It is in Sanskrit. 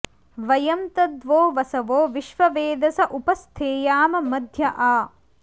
व॒यं तद्वो॑ वसवो विश्ववेदस॒ उप॑ स्थेयाम॒ मध्य॒ आ